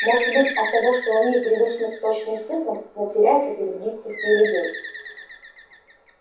может быть оттого что они привычны к точным цифрам но теряются перед гибкостью людей